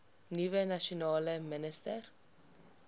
nuwe nasionale minister